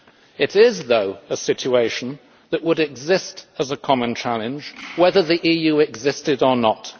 It is, though, a situation that would exist as a common challenge whether the EU existed or not.